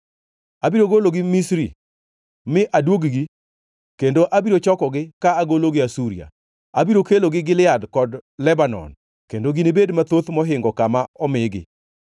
Abiro gologi Misri mi aduog-gi kendo abiro chokogi ka agologi Asuria. Abiro kelogi Gilead kod Lebanon, kendo ginibed mathoth mohingo kama omigi.